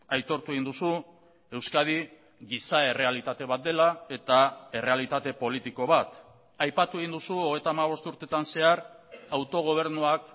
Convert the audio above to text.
aitortu egin duzu euskadi giza errealitate bat dela eta errealitate politiko bat aipatu egin duzu hogeita hamabost urteetan zehar autogobernuak